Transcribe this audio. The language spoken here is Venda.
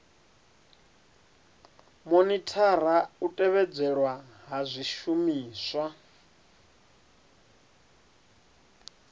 monithara u tevhedzelwa ha zwishumiswa